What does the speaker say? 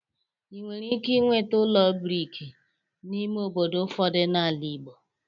ị nwere ike inweta ụlọ brik n'ime obodo ụfọdụ n'ala ịgbo.